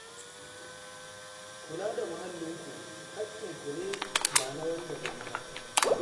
Ku kula da muhallinku, haƙƙinku ne ba na wan daban ba